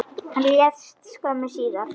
Hann lést skömmu síðar.